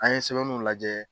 An ye sɛbɛn nunw lajɛ.